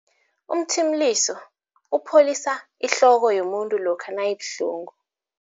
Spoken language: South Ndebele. Umthimuliso upholisa ihloko yomuntu lokha nayibuhlungu.